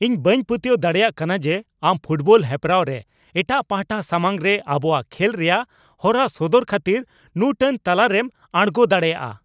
ᱤᱧ ᱵᱟᱹᱧ ᱯᱟᱹᱛᱭᱟᱹᱣ ᱫᱟᱲᱮᱭᱟᱜ ᱠᱟᱱᱟ ᱡᱮ ᱟᱢ ᱯᱷᱩᱴᱵᱚᱞ ᱦᱮᱯᱨᱟᱣ ᱨᱮ ᱮᱴᱟᱝ ᱯᱟᱦᱴᱟ ᱥᱟᱢᱟᱝᱨᱮ ᱟᱵᱚᱣᱟᱜ ᱠᱷᱮᱞ ᱨᱮᱭᱟᱜ ᱦᱚᱨᱟ ᱥᱚᱫᱚᱨ ᱠᱷᱟᱹᱛᱤᱨ ᱱᱩᱱᱟᱹᱴ ᱞᱟᱛᱟᱨᱮᱢ ᱟᱬᱜᱳ ᱫᱟᱲᱮᱭᱟᱜᱼᱟ ᱾